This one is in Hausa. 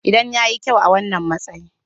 Idan ya yi kyau a wannan matsayi.